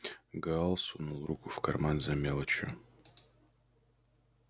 гаал сунул руку в карман за мелочью